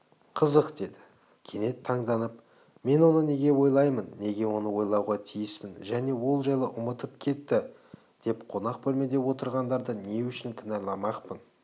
қызық деді кенет таңданып мен оны неге ойлаймын неге оны ойлауға тиіспін және ол жайлы ұмытып кетті деп қонақ бөлмеде отырғандарды не үшін кінәламақпын